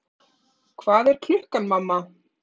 Hvað er klukkan, mamma?